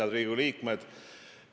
Head Riigikogu liikmed!